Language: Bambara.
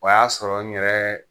O y'a sɔrɔ n yɛrɛ